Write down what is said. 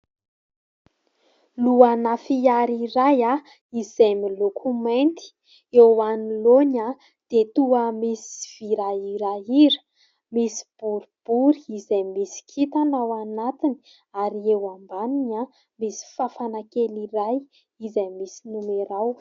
Lohana fiara iray izay miloko mainty. Eo anoloany dia toa misy vy rahirahira misy boribory izay misy kintana ao anatiny ary eo ambaniny misy fafana kely iray izay misy nomerao.